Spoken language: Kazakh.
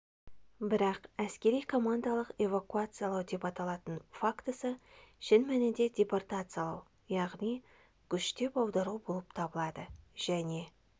бірақ әскери командалық эвакуациялау деп аталатын фактісі шын мәнінде депортациялау яғни күштеп аудару болып табылды және